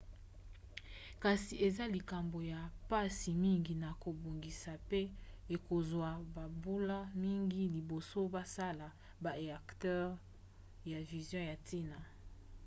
kasi eza likambo ya mpasi mingi na kobongisa pe ekozwa bambula mingi liboso basala ba éacteurs ya fusion ya ntina